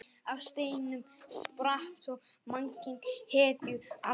Af steinunum spratt svo mannkyn hetjualdar.